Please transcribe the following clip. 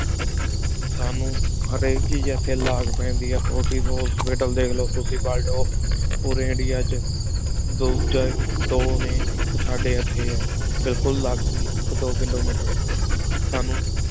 ਸਾਨੂ ਹਰ ਆਇਕ ਚੀਜ਼ ਇਥੀ ਲਾਗ ਪੇਂਦੀ ਆ forty hospitals ਦੇਖ ਲੋ ਤੁਸੀਂ ਪੋਰੀ ਇੰਡੀਆ ਵਿਚ ਦੋ ਚਾਰ ਦੋ ਨੀ ਇਕ ਸਾਡੀ ਇਥੀ ਬਿਲਕੁਲ ਲਗੀ ਆ ਆਇਕ ਦੋ ਕਿਲੋਮੀਟਰ ਸਾਨੂ